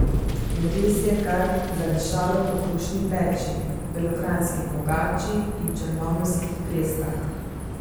In res je kar zadišalo po krušni peči, belokranjski pogači in črnomaljskih prestah.